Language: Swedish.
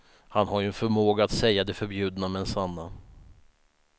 Han har ju en förmåga att säga det förbjudna men sanna.